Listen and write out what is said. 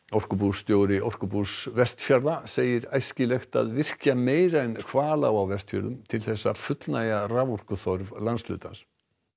orkubússtjóri Orkubús Vestfjarða segir æskilegt að virkja meira en Hvalá á Vestfjörðum til að fullnægja raforkuþörf landshlutans